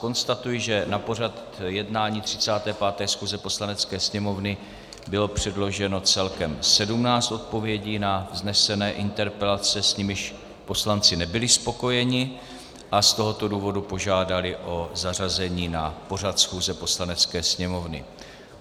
Konstatuji, že na pořad jednání 35. schůze Poslanecké sněmovny bylo předloženo celkem 17 odpovědí na vznesené interpelace, s nimiž poslanci nebyli spokojeni, a z tohoto důvodu požádali o zařazení na pořad schůze Poslanecké sněmovny.